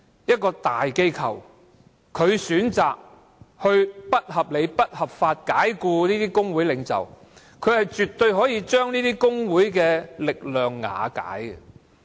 一間大型機構選擇不合理及不合法地解僱工會領袖，絕對可以將工會的力量瓦解。